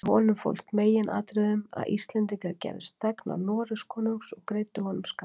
Í honum fólst í meginatriðum að Íslendingar gerðust þegnar Noregskonungs og greiddu honum skatt.